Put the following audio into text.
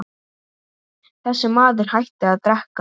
Þessi maður hætti að drekka.